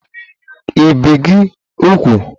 i bìe gi úgwù?